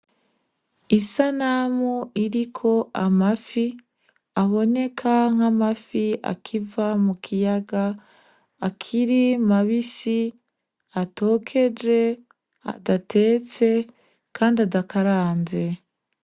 Isanamu iriko amafi aboneka nke amafi akiva mu kiyaga akiri mabisi atokeje adatetse, kandi adakaranze.